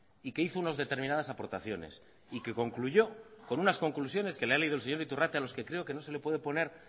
y que hizo unas determinadas aportaciones y que concluyó con unas conclusiones que le ha leído el señor iturrate a los que creo que no se le puede poner